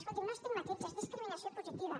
escolti no estigmatitza és discriminació positiva